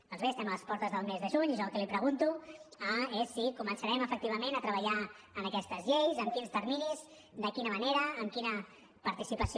doncs bé estem a les portes del mes de juny i jo el que li pregunto és si començarem efectivament a treballar en aquestes lleis amb quins terminis de quina manera amb quina participació